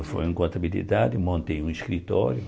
Eu me formei em contabilidade, montei um escritório.